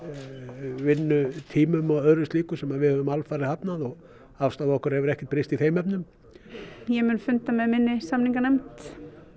vinnutímum og öðru slíku sem við höfum alfarið hafnað og afstaða okkar hefur ekkert breyst í þeim efnum ég mun funda með minni samninganefnd